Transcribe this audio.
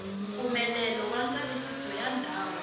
mpfumelelo wa ndzavisiso wa ndhawu